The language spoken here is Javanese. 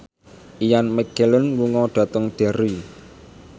Ian McKellen lunga dhateng Derry